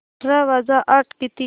अठरा वजा आठ किती